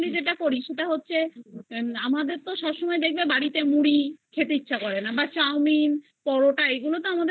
সেটা হচ্ছে আমাদেরতো বাড়িতে দেখবে সবসময় মুড়ি খেতে ইচ্ছা করে না বা chowmin বা পরোটা